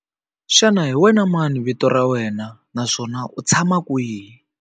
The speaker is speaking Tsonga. Xana hi wena mani vito ra wena naswona u tshama kwihi?